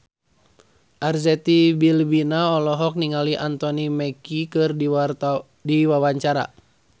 Arzetti Bilbina olohok ningali Anthony Mackie keur diwawancara